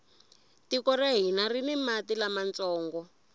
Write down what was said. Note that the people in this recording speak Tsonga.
tiko ra hina rini mati lamantsongo